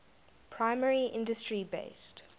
primary industry based